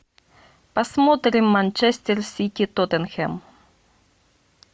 посмотрим манчестер сити тоттенхэм